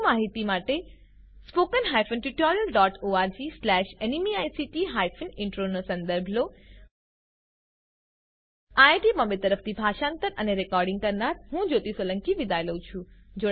વધુ માહિતી માટે httpspoken tutorialorgNMEICT Intro નો સંદર્ભ લો આઈઆઈટી બોમ્બે તરફથી ભાષાંતર કરનાર હું જ્યોતી સોલંકી વિદાય લઉં છું